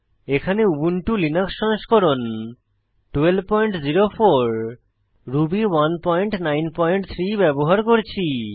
এখানে Ubuntu Linux সংস্করণ 1204 Ruby 193 ব্যবহার করছি